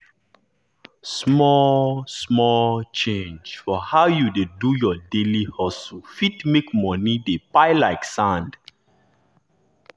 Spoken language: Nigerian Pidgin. small-small change for how you dey do your daily hustle fit make money dey pile like sand.